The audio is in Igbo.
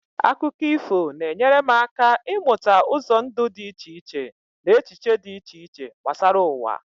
Akụkọ ifo na-enyere m aka ịmụta ụzọ ndụ dị iche iche na echiche dị iche iche gbasara ụwa.